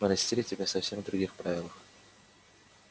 мы растили тебя совсем в других правилах